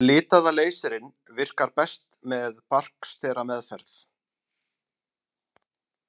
Litaða leysirinn virkar best með barksterameðferð.